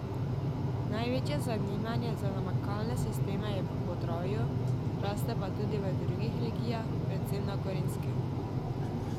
Največje zanimanje za namakalne sisteme je v Podravju, raste pa tudi v drugih regijah, predvsem na Gorenjskem.